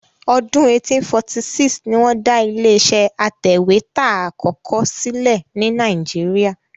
Ọdún 1846 ni wọ́n dá ilé-iṣẹ́ atẹ̀wétà àkọ́kọ́ sílẹ̀ ní Nàíjíríà.